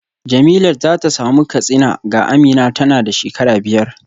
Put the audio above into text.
Jemilat za ta samu katsina ga Amina tana da shekara biyar